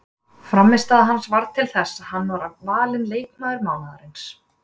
Frammistaða hans varð til þess að hann var valinn leikmaður mánaðarins.